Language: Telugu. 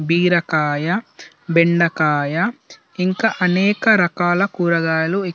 బెరకాయబెండకాయ ఇంకా అనేక రకాల కురగాయాలు ఇ --